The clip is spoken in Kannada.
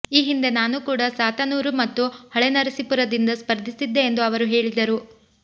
ಈ ಹಿಂದೆ ನಾನೂ ಕೂಡ ಸಾತನೂರು ಮತ್ತು ಹೊಳೆನರಸೀಪುರದಿಂದ ಸ್ಪರ್ಧಿಸಿದ್ದೆ ಎಂದು ಅವರು ಹೇಳಿದರು